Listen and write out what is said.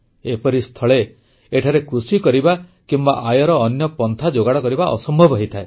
ଏପରିସ୍ଥଳେ ଏଠାରେ କୃଷି କରିବା କିମ୍ବା ଆୟର ଅନ୍ୟ ପନ୍ଥା ଯୋଗାଡ଼ କରିବା ଅସମ୍ଭବ ହୋଇଥାଏ